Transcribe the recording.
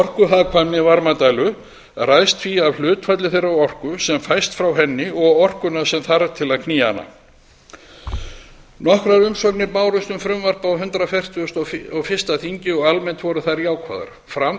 orkuhagkvæmni varmadælu ræðst því af hlutfalli þeirrar orku sem fæst frá henni og orkunnar sem þarf til að knýja hana nokkrar umsagnir bárust um frumvarpið á hundrað fertugasta og fyrsta þingi og almennt voru þær jákvæðar fram